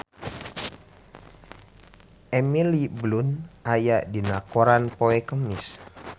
Emily Blunt aya dina koran poe Kemis